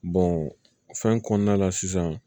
fɛn kɔnɔna la sisan